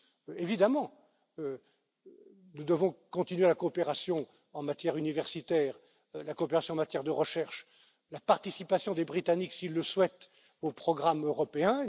Nous devons évidemment continuer la coopération en matière universitaire, la coopération en matière de recherche, la participation des Britanniques, s'ils le souhaitent, aux programmes européens.